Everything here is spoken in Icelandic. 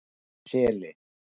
Seli